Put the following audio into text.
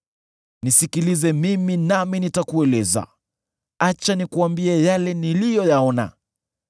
“Nisikilize mimi nami nitakueleza, acha nikuambie yale niliyoyaona,